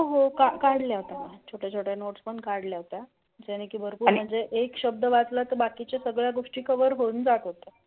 हो काढल्या होत्या छोट्या छोट्या नोट्स पण काढल्या होत्या. म्हणजे एक शब्द वाचला की बाकीचे सगळे गोष्टी कवर होऊन जातात